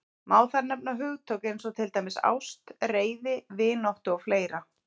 Má þar nefna hugtök eins og til dæmis ást, reiði, vináttu og fleira.